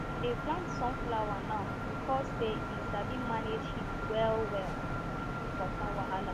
we dey plant sun flower now beacuse say e sabi manage heat well well and even water wahala